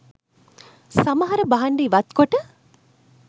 සමහර භාණ්ඩ ඉවත්කොට